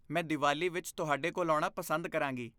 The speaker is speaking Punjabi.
ਮੈਂ ਦੀਵਾਲੀ ਵਿੱਚ ਤੁਹਾਡੇ ਕੋਲ ਆਉਣਾ ਪਸੰਦ ਕਰਾਂਗੀ।